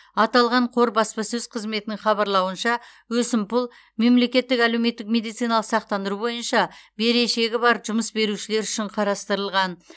аталған қор баспасөз қызметінің хабарлауынша өсімпұл мемлекеттік әлеуметтік медициналық сақтандыру бойынша берешегі бар жұмыс берушілер үшін қарастырылған